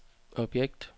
objekt